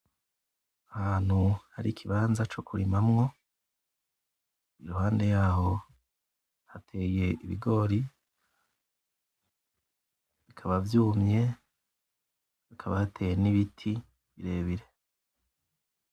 Ahantu hari ikibanza co kurimamwo, iruhande yaho hateye ibigori bikaba vyumye, hakaba hateye n'ibiti birebire.